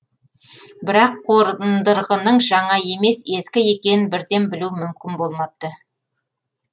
бірақ қордырғының жаңа емес ескі екенін бірден білу мүмкін болмапты